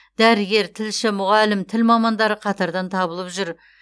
дәрігер тілші мұғалім тіл мамандары қатардан табылып жүр